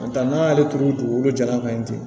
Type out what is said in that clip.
N tɛ n'an y'ale turu dugukolo jalan fɛ ye ten